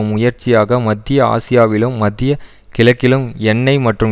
முயற்சியாக மத்திய ஆசியாவிலும் மத்திய கிழக்கிலும் எண்ணெய் மற்றும்